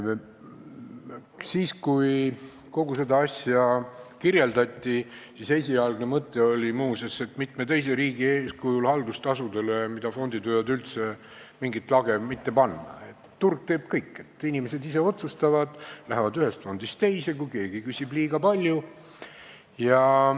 Siis, kui kogu seda asja kirjeldati, oli esialgne mõte muuseas see, mitme teise riigi eeskujul, et haldustasudele, mida fondid võivad võtta, ei oleks vaja üldse mingit lage panna, sest turg teeb kõik – inimesed ise otsustavad ja lähevad ühest fondist teise, kui keegi küsib liiga palju.